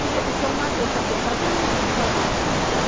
Queria lecionar que eu sabia fazer e não pude fazer.